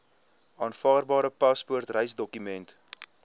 aanvaarbare paspoort reisdokument